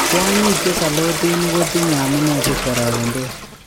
Kwanyik chesalotinik kotinye amune si kwaraketos?